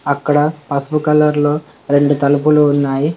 అక్కడ పసుపు కలర్లో రెండు తలుపులు ఉన్నాయి.